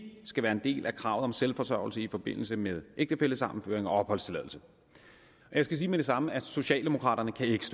skal være en del af kravet om selvforsørgelse i forbindelse med ægtefællesammenføring og opholdstilladelse jeg skal med det samme sige at socialdemokraterne ikke